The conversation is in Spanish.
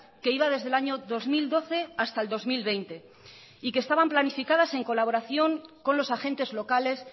que iba desde el año dos mil doce hasta el dos mil veinte y que estaban planificadas en colaboración con los agentes locales